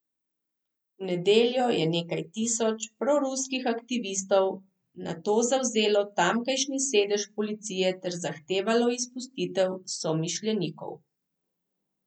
V nedeljo je nekaj tisoč proruskih aktivistov nato zavzelo tamkajšnji sedež policije ter zahtevalo izpustitev somišljenikov.